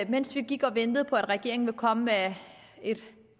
mens vi gik og ventede på at regeringen ville komme med et